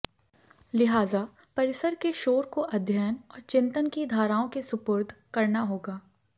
लिहाजा परिसर के शोर को अध्ययन और चिंतन की धाराओं के सुपुर्द करना होगा